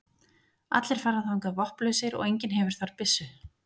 Allir fara þangað vopnlausir og enginn hefur þar byssu.